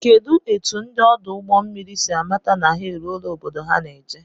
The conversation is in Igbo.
Kedụ etụ ndị ọdụ ụgbọ mmiri si amata na ha eruọla obodo ha ná-eje?